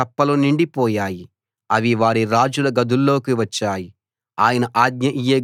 వారి దేశంలో కప్పలు నిండిపోయాయి అవి వారి రాజుల గదుల్లోకి వచ్చాయి